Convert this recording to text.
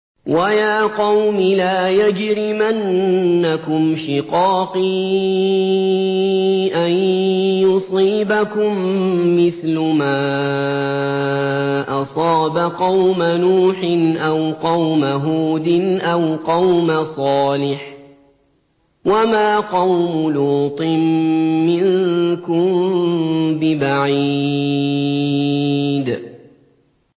وَيَا قَوْمِ لَا يَجْرِمَنَّكُمْ شِقَاقِي أَن يُصِيبَكُم مِّثْلُ مَا أَصَابَ قَوْمَ نُوحٍ أَوْ قَوْمَ هُودٍ أَوْ قَوْمَ صَالِحٍ ۚ وَمَا قَوْمُ لُوطٍ مِّنكُم بِبَعِيدٍ